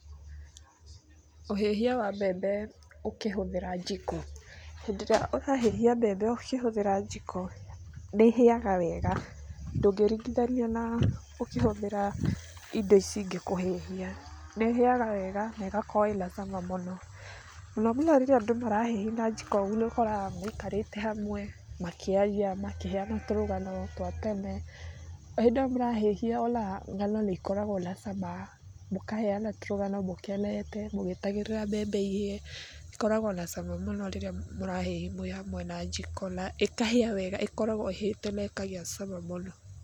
Ũhĩhia wa mbembe ũkĩhũthĩra njiko. Hĩndĩ ĩrĩa urahĩhia mbembe ũkĩhũthĩra njiko, nĩ ĩhĩaga wega. Ndũngĩringithania na ũkĩhũthĩra indo ici ingĩ kũhĩhia. Nĩ ĩhĩaga wega na ĩgakorwo ĩna cama mũno. No umenye rĩrĩa andũ marahĩhia na jiko ũguo, nĩ ũkoraga maikarĩte hamwe, makĩaria, makĩheana tũrũgano twa tene. O hĩndĩ ĩyo marahĩhia ona ng'ano nĩ ikoragwo na cama, mũkaheana tũrũgano mũkenete, mũgĩetagĩrĩra mbembe ihĩe. Ikoragwo na cama mũno rĩrĩa mũrahĩhi mwĩ hamwe na jiko, na ĩkahĩa wega. ĩkoragwo ĩhĩte na ĩkagĩa cama mũno.